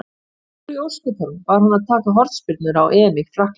Af hverju í ósköpunum var hann að taka hornspyrnurnar á EM í Frakklandi?